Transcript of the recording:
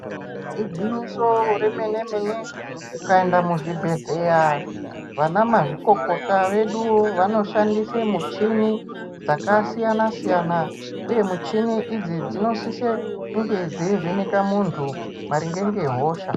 Igwinyiso remene mene ukaenda muzvibhedhlera Vana mazvikokota vedu vanoshandisa muchina dzakasiyana siyana uye muchini idzi dzinosisa kunge dzeivheneka muntu maringe nehosha.